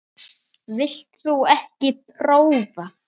Vilt þú ekki prófa?